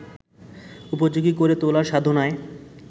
উপযোগী করে তোলার সাধনায়